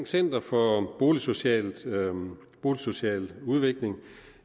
center for boligsocial boligsocial udvikling vil